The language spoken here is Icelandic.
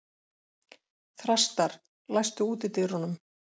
Þrastar, læstu útidyrunum.